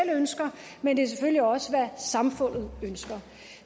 ønsker men det er også hvad samfundet ønsker